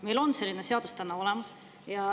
Meil on vastav seadus olemas.